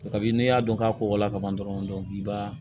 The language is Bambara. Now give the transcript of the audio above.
Kabini n'i y'a dɔn k'a kɔkɔla ka ban dɔrɔn i b'a